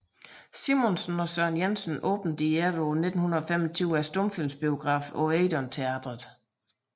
Simonsen og Søren Jensen åbnede i efteråret 1925 stumfilmsbiografen Odeon Teatret